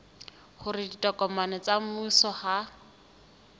hore ditokomane tsa mmuso ha